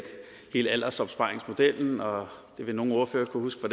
hele aldersopsparingsmodellen og det vil nogle ordfører kunne huske